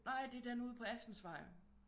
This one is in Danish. Nej det er den ude på Assensvej